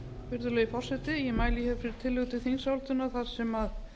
virðulegi forseti ég mæli fyrir tillögu til þingsályktunar þar sem